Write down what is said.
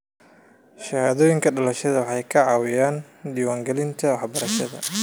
Shahaadooyinka dhalashada waxay kaa caawinayaan diiwaangelinta waxbarashada.